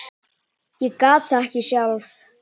Ég gat það ekki sjálf.